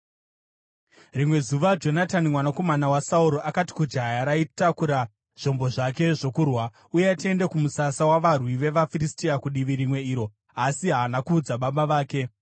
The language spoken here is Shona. Rimwe zuva Jonatani mwanakomana waSauro akati kujaya raitakura zvombo zvake zvokurwa, “Uya tiende kumusasa wavarwi vevaFiristia kudivi rimwe iro.” Asi haana kuudza baba vake.